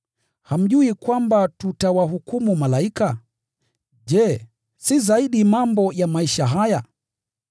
Hamjui kwamba tutawahukumu malaika? Je, si zaidi mambo ya maisha haya?